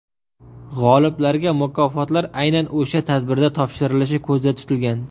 G‘oliblarga mukofotlar aynan o‘sha tadbirda topshirilishi ko‘zda tutilgan.